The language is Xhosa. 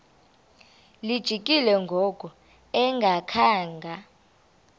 lijikile ngoku engakhanga